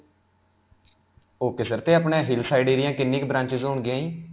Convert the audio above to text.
ok sir. 'ਤੇ ਆਪਣੇ hill side area ਕਿੰਨੀਆਂ ਕੁ branches ਹੋਣ ਗਿਆਂ ਜੀ?